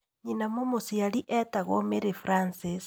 Nyina mũmũciari etagwo Mary Francis.